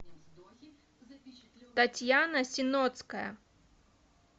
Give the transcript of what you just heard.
татьяна синотская